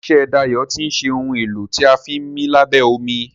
ilé iṣé Dayo tin ṣe Ohun èlò tí a fi ńmí lábẹ́ omi.